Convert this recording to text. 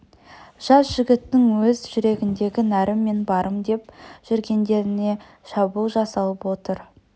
жас жігіттің өз жүрегіндегі нәрім мен барым деп жүргендеріне шабуыл жасалып отыр